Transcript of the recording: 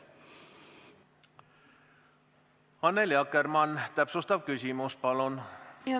Annely Akkermann, täpsustav küsimus, palun!